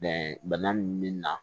Bɛnkan min bɛ na